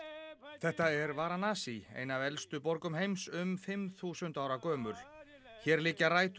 þetta er Varanasi ein af elstu borgum heims um fimm þúsund ára gömul hér liggja rætur